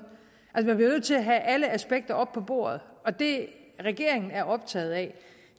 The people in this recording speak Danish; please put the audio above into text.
man bliver nødt til at have alle aspekter op på bordet og det regeringen er optaget af